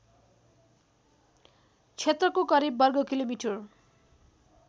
क्षेत्रको करिब वर्गकिलोमिटर